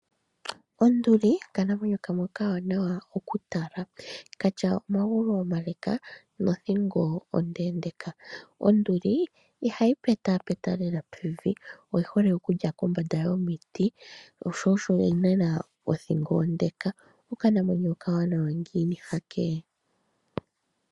Onduli okanamwenyo kamwe okawanawa okutala, katya omagulu omale nothingo ondeendeka. Onduli ihayi petapeta lela pevi , oyi hole okulya pombanda yomiti, sho osho yi na othingo onde. Okanamwenyo okawanawa ngiini hano ee!